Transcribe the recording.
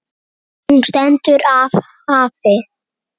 Hún stendur af hafi.